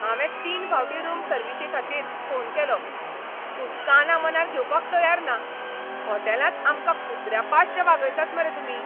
हांवें तीन फावटीं रूम सर्विशीखातीर फोन केलो, पूण कानामनार घेवपाक तयार ना! हॉटेलांत आमकां कुत्र्या पाश्ट वागयतात मरे तुमी.